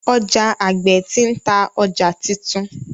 Oja agbe ti n ta ọja titun.